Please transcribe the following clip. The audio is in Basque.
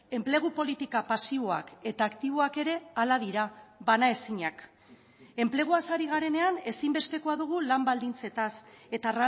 enplegu politika pasiboak eta aktiboak ere hala dira banaezinak enpleguaz ari garenean ezinbestekoa dugu lan baldintzetaz eta